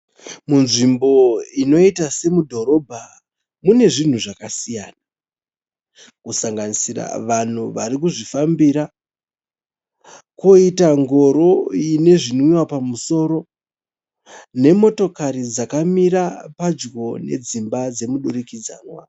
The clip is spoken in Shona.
Mudzvimbo inoita semudhorobha mune zvinhu zvakasiyana. Kusanganisira vanhu varikuzvifambira. Koita ngoro ine zvinwiwa pamusoro. Nemota dzakamira padyo nedzimba dzemudurikidzanwa.